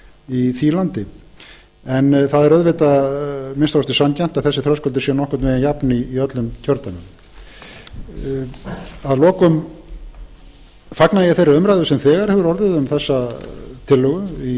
í því landi en það er að minnsta kosti sanngjarnt að þessi þröskuldur sé nokkurn veginn jafn í öllum kjördæmum að lokum fagna ég þeirri umræðu sem þegar hefur orðið um þessa tillögu í